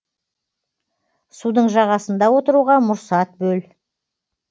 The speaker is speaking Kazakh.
судың жағасында отыруға мұрсат бөл